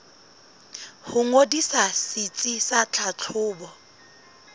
ho ngodisa setsi sa tlhahlobo